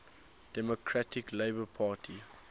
democratic labour party